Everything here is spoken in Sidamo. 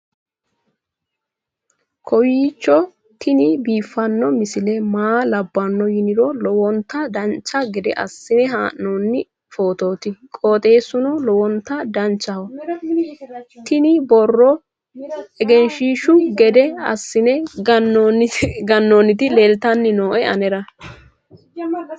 kowiicho tini biiffanno misile maa labbanno yiniro lowonta dancha gede assine haa'noonni foototi qoxeessuno lowonta danachaho. tini borro egenshshiishu gede assine gannoonniti leeltanni nooe anera